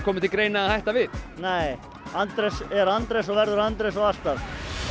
komið til greina að hætta við nei Andrés er Andrés og verður Andrés og alltaf